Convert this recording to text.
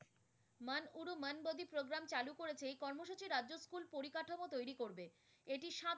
করেছে এই কর্মসূচি রাজ্য স্কুল উপরিকাঠামো তৈরি করবে। এটি